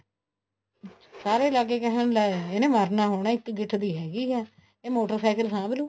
ਸਾਰੇ ਲੱਗ ਗਏ ਕਹਿਣ ਲੈ ਇਹਨੇ ਮਰਨਾ ਹੋਣਾ ਇੱਕ ਗਿੱਠ ਦੀ ਹੈਗੀ ਆ ਇਹ ਮੋਟਰਸਾਇਕਲ ਸਾਂਭ ਲੂ